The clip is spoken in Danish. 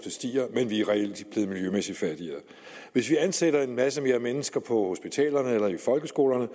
stiger men vi er reelt blevet miljømæssigt fattigere hvis vi ansætter en masse flere mennesker på hospitalerne eller i folkeskolerne